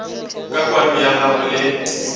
ka kwano ya gagwe le